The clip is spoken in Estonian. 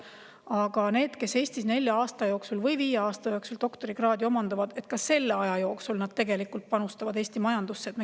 Aga need, kes Eestis nelja või viie aasta jooksul doktorikraadi omandavad, panustavad tegelikult ka selle aja jooksul Eesti majandusse.